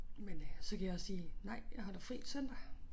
Men øh så kan jeg også sige nej jeg holder fri søndag